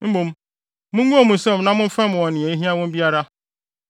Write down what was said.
Mmom, mungow mo nsam na momfɛm wɔn nea ehia wɔn biara.